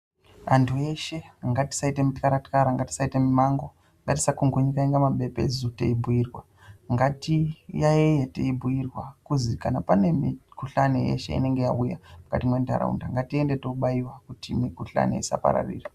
Antu eshe katisaite mutlara tlara ngatisaite mumhango ngatisakungunyikaninga mabepezu teibhiirwa ngatiyaite teibhuirwa kuzi kana mikhuhlani yeshe inenge yauya mukati mwentaraunda ngatiende tobaiwa kuti mikhuhlani isapararira.